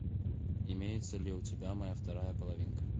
имеется ли у тебя моя вторая половинка